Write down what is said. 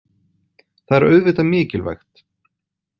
Það er auðvitað mikilvægt.